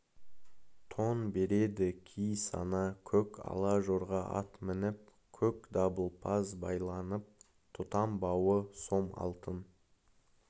тон береді ки сана көк ала жорға ат мініп көк дабылпаз байланып тұтам бауы сом алтын